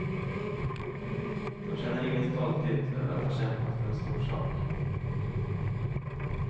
De känner ingen stolthet över att ha kämpat för en stor sak.